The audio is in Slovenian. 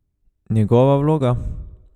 Njegova vloga?